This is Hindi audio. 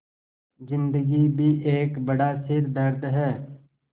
ज़िन्दगी भी एक बड़ा सिरदर्द है